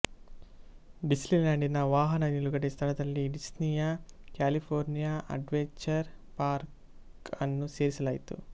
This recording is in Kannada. ಡಿಸ್ನಿಲ್ಯಾಂಡಿನ ವಾಹನ ನಿಲುಗಡೆ ಸ್ಥಳದಲ್ಲಿ ಡಿಸ್ನಿಯ ಕ್ಯಾಲಿಫೋರ್ನಿಯಾ ಅಡ್ವೆಂಚರ್ ಪಾರ್ಕ ಅನ್ನು ಸೇರಿಸಲಾಯಿತು